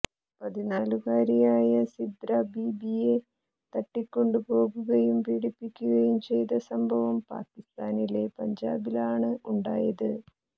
പതിനാലുകാരിയായ സിദ്രാ ബീബിയെ തട്ടിക്കൊണ്ടുപോകുകയും പീഡിപ്പിക്കുകയും ചെയ്ത സംഭവം പാക്കിസ്ഥാനിലെ പഞ്ചാബിലാണ് ഉണ്ടായത്